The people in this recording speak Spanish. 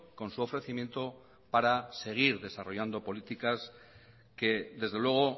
con su ofrecimiento para seguir desarrollando políticas que desde luego